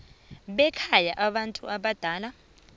bekhaya labantu abadala